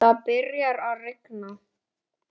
Það byrjar að rigna.